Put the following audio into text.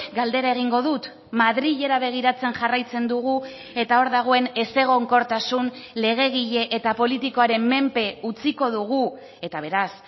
galdera egingo dut madrilera begiratzen jarraitzen dugu eta hor dagoen ezegonkortasun legegile eta politikoaren menpe utziko dugu eta beraz